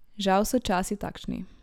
Žal so časi takšni.